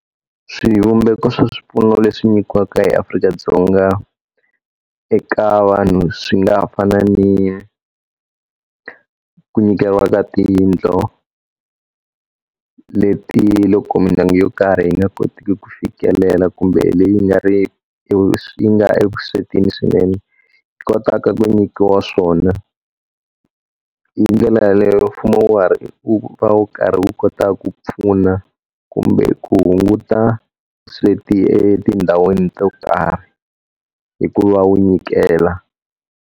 Swivumbeko swa swipfuno leswi nyikiwaka eAfrika-Dzonga eka vanhu swi nga ha fani ku nyikeriwa ka tiyindlu, leti loko mindyangu yo karhi yi nga koteki ku fikelela kumbe leyi nga ri yi nga evuswetini swinene, yi kotaka ku nyikiwa swona. Hi ndlela yaleyo mfumo wu har iwu va wu karhi wu kota ku pfuna kumbe ku hunguta vusweti etindhawini to karhi, hikuva wu nyikela.